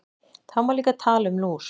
Það má líka tala um lús.